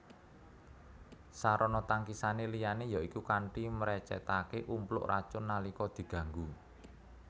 Sarana tangkisané liyané yaiku kanthi mrecètaké umpluk racun nalika diganggu